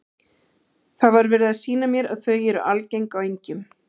Það var verið að sýna mér að þau eru algeng á engjum.